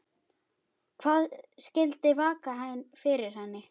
Hvað skyldi vaka fyrir henni?